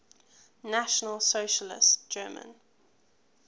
national socialist german